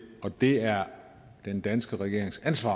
og det er den danske regerings ansvar